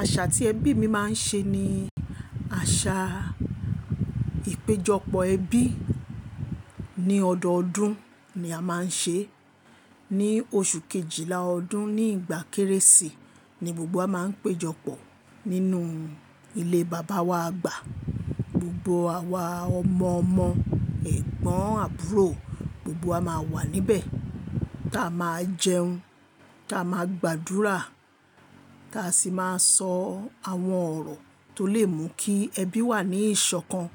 Àṣà tí ẹbí mi máa ń ṣe ni àṣà ìpéjọpọ̀ ẹbí. Ní ọdọọdún ni a máa ń ṣe, ní oṣù kejìlá ọdún, ní ìgbà Kérésì ni gbogbo wa máa ń péjọpọ̀ nínú ilé bàbá wa àgbà. Gbogbo àwa ọmọ ọmọ, ẹ̀gbọ́n àbúrò, gbogbo wa máa wà níbẹ̀. Táa máa jẹun, táa máa gbàdúrà, táa sì máa sọ àwọn ọ̀rọ̀ tó lè mú kí ẹbí wà ní ìṣọ̀kan.